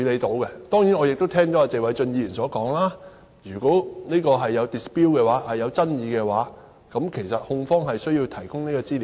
當然，我亦聽到謝偉俊議員所說，如果在這方面有爭議，控方有需要提供資料。